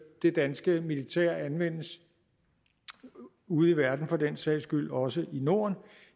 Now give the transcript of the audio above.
det danske militær anvendes ude i verden for den sags skyld også i norden